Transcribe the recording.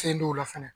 Fɛn dɔw la fɛnɛ